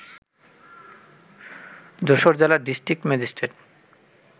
যশোর জেলার district magistrate